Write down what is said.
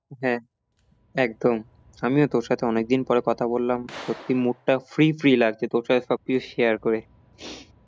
হ্যাঁ একদম আমিও তোর সাথে অনেক দিন পরে কথা বললাম সত্যি mood টা free free লাগছে তোর সাথে সব কিছু share করে।